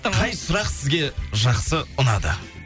қай сұрақ сізге жақсы ұнады